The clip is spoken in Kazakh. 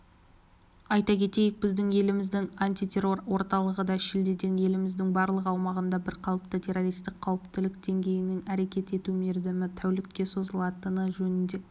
айта кетейік біздің еліміздің антитеррор орталығы да шілдеден еліміздің барлық аумағында бірқалыпты террористік қауіптілік деңгейінің әрекет ету мерзімі тәулікке созылатыны жөнінде